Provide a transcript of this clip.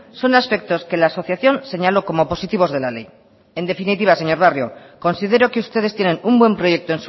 son aspectos que la asociación señaló como positivos de la ley en definitiva señor barrio considero que ustedes tienen un buen proyecto